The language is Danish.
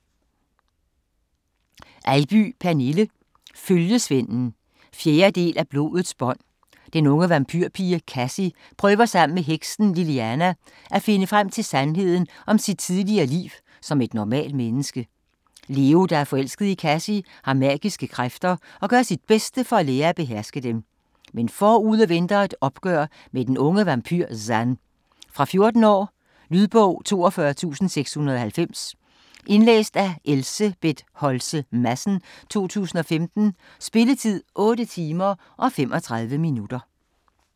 Eybye, Pernille: Følgesvenden 4. del af Blodets bånd. Den unge vampyrpige, Kassie prøver sammen med heksen Liliana at finde frem til sandheden om sit tidligere liv som et normalt menneske. Leo, der er forelsket i Kassie, har magiske kræfter og gør sit bedste for at lære at beherske dem. Men forude venter et opgør med den unge vampyr, Zan. Fra 14 år. Lydbog 42690 Indlæst af Elsebeth Holtze Madsen, 2015. Spilletid: 8 timer, 35 minutter.